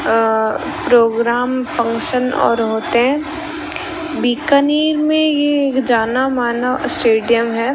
अ programme function और होते बीकानेर में ये एक जाना माना स्टेडियम है।